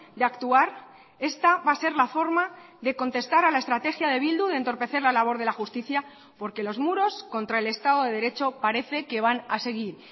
de actuar esta va a ser la forma de contestar a la estrategia de bildu de entorpecer la labor de la justicia porque los muros contra el estado de derecho parece que van a seguir